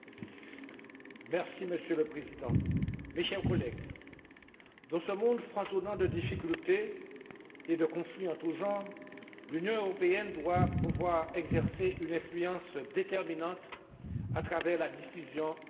Monsieur le Président, chers collègues, dans ce monde foisonnant de difficultés et de conflits en tous genres, l'Union européenne doit pouvoir exercer une influence déterminante à travers la diffusion de ses valeurs fondatrices.